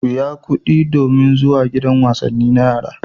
Biya kuɗi domin zuwa gidan wasanni na yara.